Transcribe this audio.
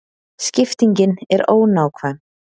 Skiptingin er ónákvæm.